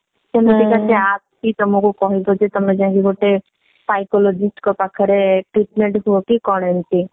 ଏମିତି ମାନେ ସେ app ତମକୁ କହିବ ଯେ ତମେ ଯାଇକି ଗୋଟେ psychologist ଙ୍କ ପାଖରେ treatment ହୁଅ କି କଣ ଏମିତି